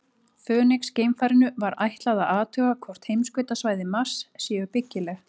Fönix-geimfarinu var ætlað að athuga hvort heimskautasvæði Mars séu byggileg.